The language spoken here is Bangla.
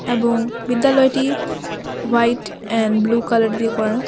এবং বিদ্যালয়টি হোয়াইট এন্ড ব্লু কালার দিয়ে করা।